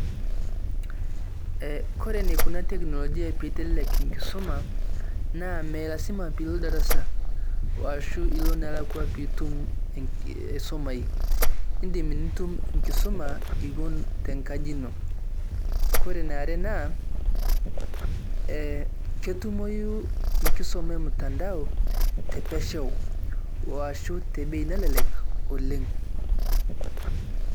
Eeh kore neikuna teknolojia pee eitelelek nkisoma na mee lasima piiloo ldarasa arashu eloo naalakwa piitum asomai. Idim nituum nkisoma ewoon te nkaaji enoo . Kore nee aare naa ketumoyuu nkisoma e mtandao te peeshau oashu te bei nelelek oleng.